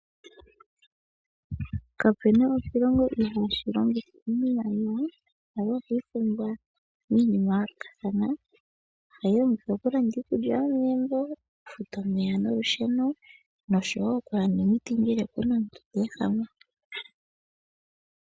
Kape na oshilongo ihaashi longitha iimaliwa. Iimaliwa ohayi pumbiwa miinima ya yoolokathana. Ohayi longithwa okulanda iikulya yomegumbo, okufuta omeya nolusheno nosho wo okulanda omiti ngele opu na omuntu te ehama.